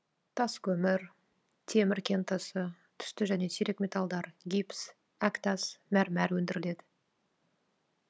тас көмір темір кентасы түсті және сирек металдар гипс әктас мәрмәр өндіріледі